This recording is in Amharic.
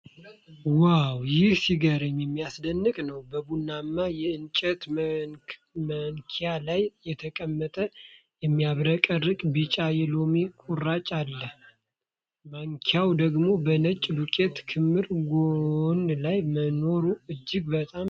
ዋው! ይህ ሲገርም የሚያስደንቅ ነው። በቡናማ የእንጨት ማንኪያ ላይ የተቀመጠ የሚያብረቀርቅ ቢጫ የሎሚ ቁራጭ አለ። ማንኪያዋ ደግሞ በነጭ ዱቄት ክምር ጎን ላይ መኖሩ እጅግ በጣም ጥሩ ነው።